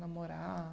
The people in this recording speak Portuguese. Namorar?